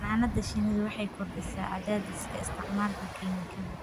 Xannaanada shinnidu waxay kordhisaa cadaadiska isticmaalka kiimikada.